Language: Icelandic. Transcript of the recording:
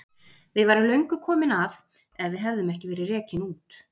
Við værum löngu komin að ef við hefðum ekki verið rekin út.